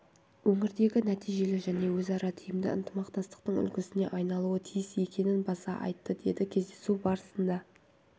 өңірдегі нәтижелі және өзара тиімді ынтымақтастықтың үлгісіне айналуы тиіс екенін баса айтты деді кездесу барысында